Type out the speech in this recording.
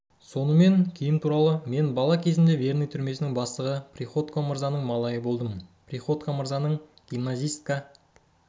сонымен киім туралы мен бала кезімде верный түрмесінің бастығы приходько мырзаның малайы болдым приходько мырзаның гимназистка